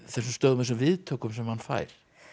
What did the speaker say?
þessum viðtökum sem hann fær